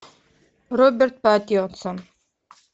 роберт паттинсон